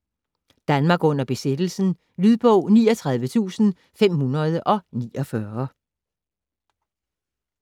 Danmark under besættelsen Lydbog 39549